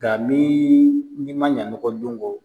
Nga ni, i ma ɲa nɔgɔ don kɔ